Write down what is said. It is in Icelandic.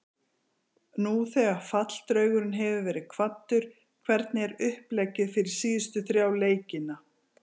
Nú þegar falldraugurinn hefur verið kvaddur, hvernig er uppleggið fyrir síðustu þrjá leikina?